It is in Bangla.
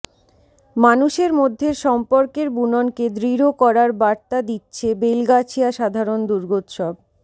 মানুষের মধ্যের সম্পর্কের বুননকে দৃঢ় করার বার্তা দিচ্ছে বেলগাছিয়া সাধারণ দুর্গোৎসব